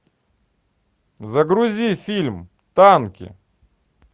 загрузи фильм танки